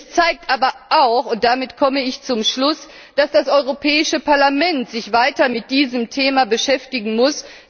Es zeigt aber auch und damit komme ich zum Schluss dass das Europäische Parlament sich weiter mit diesem Thema beschäftigen muss.